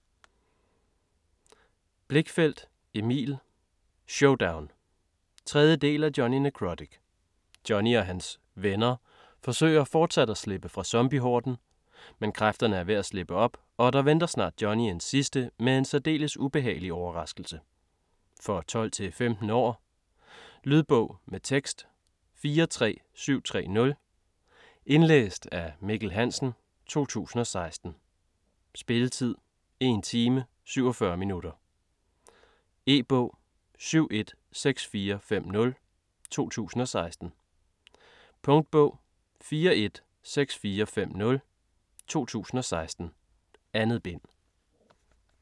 Blichfeldt, Emil: Showdown! 3. del af Jonny Nekrotic. Jonny og hans "venner" forsøger fortsat at slippe fra zombiehorden. Men kræfterne er ved at slippe op, og der venter snart Jonny en sidste, men særdeles ubehagelig, overraskelse. For 12-15 år. Lydbog med tekst 43730 Indlæst af Mikkel Hansen, 2016. Spilletid: 1 time, 47 minutter. E-bog 716450 2016. Punktbog 416450 2016. 2 bind.